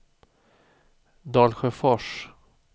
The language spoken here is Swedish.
Dalsjöfors